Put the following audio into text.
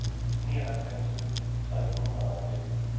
nioghalvfems tusind tre hundrede og nitten